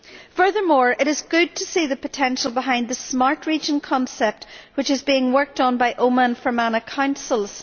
Furthermore, it is good to see the potential behind the smart region' concept, which is being worked on by Omagh and Fermanagh Councils.